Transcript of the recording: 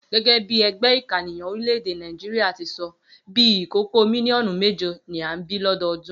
Gé̩gé̩ bí e̩gbé̩ ìkànìyàn orílè̩-èdè Nàìjíríà ti so̩, bí i ìkókó mílíò̩nù méje ni à ń bí l’ó̩do̩o̩dún